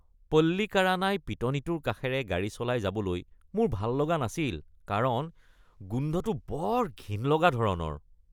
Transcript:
পল্লিকাৰানাই পিটনিটোৰ কাষেৰে গাড়ী চলাই যাবলৈ মোৰ ভাল লগা নাছিল কাৰণ গোন্ধটো বৰ ঘিণ লগা ধৰণৰ।